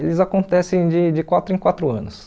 Eles acontecem de de quatro em quatro anos.